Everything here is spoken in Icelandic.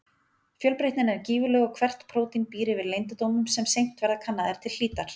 Fjölbreytnin er gífurleg og hvert prótín býr yfir leyndardómum sem seint verða kannaðir til hlítar.